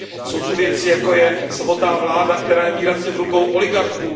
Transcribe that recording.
Jsou zde věci, jako je samotná vláda, která je výrazně v rukou oligarchů.